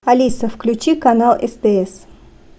алиса включи канал стс